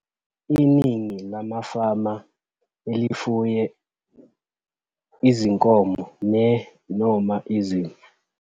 Iningi lamafama elifuye izinkomo ne-noma izimvu.